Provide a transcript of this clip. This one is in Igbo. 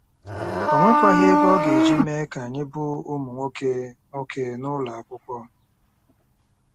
O nwekwaghị ego ọ ga-eji mee ka anyị bụ́ ụmụ nwoke nwoke n'ụlọ akwụkwọ.